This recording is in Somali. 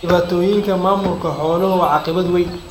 Dhibaatooyinka maamulka xooluhu waa caqabad weyn.